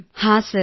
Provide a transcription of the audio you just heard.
ಹಾಂ ಸರ್